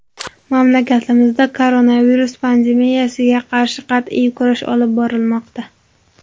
Mamlakatimizda koronavirus pandemiyasiga qarshi qat’iy kurash olib borilmoqda.